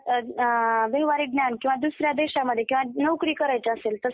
व्यवहारिक ज्ञान किंवा दुसऱ्या देशांमध्ये किंवा नोकरी करायची असेल तर साधं